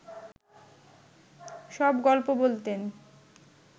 সব গল্প বলতেন